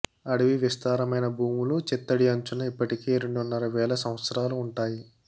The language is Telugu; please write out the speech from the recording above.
అడవి విస్తారమైన భూములు చిత్తడి అంచున ఇప్పటికే రెండున్నర వేల సంవత్సరాలు ఉంటాయి